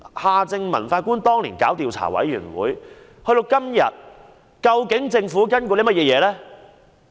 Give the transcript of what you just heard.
夏正民法官當年提交調查委員會報告距今已逾4年，政府究竟有何跟進行動呢？